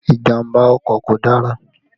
Ìjàmbá ọkọ̀ kò dára